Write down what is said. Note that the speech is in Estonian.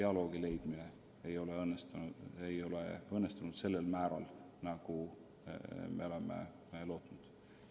Aga jah, meil ei ole õnnestunud leida sellist dialoogi, nagu me oleme lootnud.